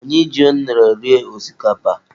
Anyị ji unere rie osikapa.